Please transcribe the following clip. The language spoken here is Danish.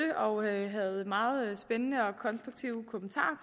og havde meget spændende og konstruktive kommentarer